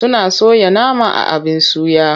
Suna soya nama a abin suya.